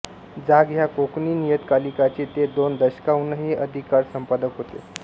जाग ह्या कोकणी नियतकालिकाचे ते दोन दशकाहूनही आधिक काळ संपादक होते